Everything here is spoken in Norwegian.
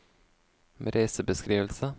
reisebeskrivelse